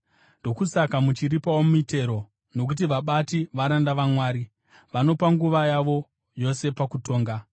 Ndokusaka muchiripawo mitero, nokuti vabati varanda vaMwari, vanopa nguva yavo yose pakutonga.